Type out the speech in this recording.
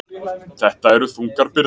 Þetta eru þungar byrðar